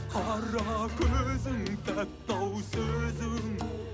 қара көзің тәтті ау сөзің